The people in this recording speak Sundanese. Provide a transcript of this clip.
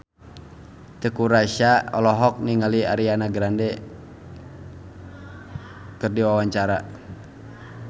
Teuku Rassya olohok ningali Ariana Grande keur diwawancara